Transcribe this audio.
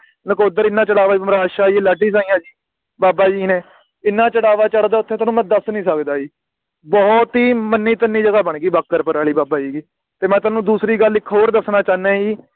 ਨਕੋਦਰ ਏਨਾ ਜਲਾਵਾਂ ਐਮਰਾਦਸ਼ਾਹੀ ਲੱਧੀ ਦਾ ਹੈ ਬਾਬਾ ਜੀ ਨੇ ਇੰਨਾ ਚੜਾਵਾ ਚੜ੍ਹਦਾ ਓਥੇ ਮੈਂ ਤੁਹਾਨੂੰ ਦੱਸ ਨੀ ਸਕਦਾ ਬੋਹੋਤ ਹੀ ਮਨੀ ਚਨੀ ਜਗਾਹ ਬਣ ਗਈ ਬਾਘਰਪੁਰਆਲੀ ਬਾਬਾ ਜੀ ਦੀ ਤੇ ਮੈਂ ਤੁਹਾਨੂੰ ਦੂਸਰੀ ਗੱਲ ਇਕ ਹੋਰ ਦੱਸਣਾ ਚਾਹਣਾ ਆ ਜੀ